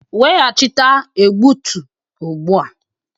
Weghachite egbutu ugbu a.